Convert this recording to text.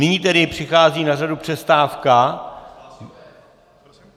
Nyní tedy přichází na řadu přestávka.